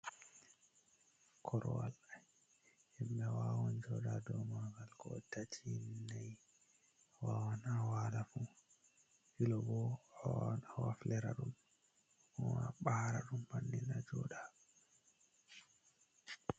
Korwal himɓe wawan jooɗa ha dou margal, ko on tati, nai, a wawan a waala fu. Filo bo awawan a waflira ɗum, ko a ɓaara ɗum bannin a jooɗa.